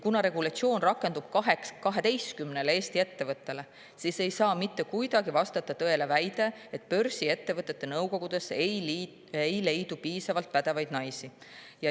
Kuna regulatsioon rakenduks 12 Eesti ettevõttele, siis ei saa mitte kuidagi vastata tõele väide, et börsiettevõtete nõukogudesse ei leia piisavalt pädevaid naisi.